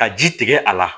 Ka ji tigɛ a la